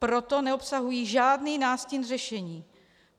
Proto neobsahují žádný nástin řešení.